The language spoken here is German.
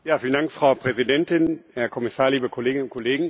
Frau Präsidentin, Herr Kommissar, liebe Kolleginnen und Kollegen!